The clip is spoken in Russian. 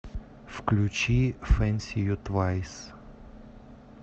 включи фэнси ю твайс